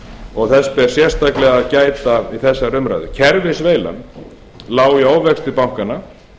og þess ber sérstaklega að gæta í þessari umræðu kerfisveilan lá í ofvexti bankanna